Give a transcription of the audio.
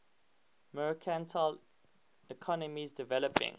mercantile economies developing